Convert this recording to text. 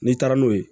N'i taara n'o ye